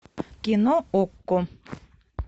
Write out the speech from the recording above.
кино окко